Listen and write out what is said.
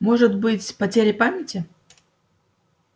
может быть потеря памяти